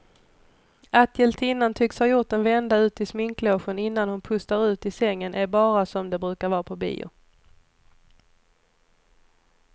Att hjältinnan tycks ha gjort en vända ut i sminklogen innan hon pustar ut i sängen är bara som det brukar vara på bio.